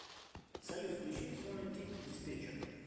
салют включи фонетик диспетчер